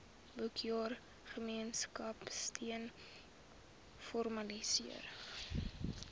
boekjaar gemeenskapsteun formaliseer